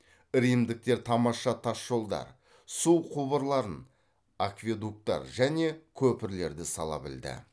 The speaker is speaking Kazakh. римдіктер тамаша тас жолдар су құбырларын акведуктар және көпірлерді сала білді